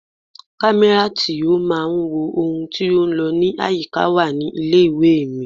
Kámẹ́rà tí ó máa ń wo ohun tí ó ń lọ ní àyíká wà ní ilé ìwé mi.